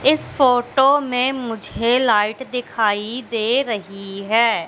इस फोटो में मुझे लाइट दिखाई दे रही है।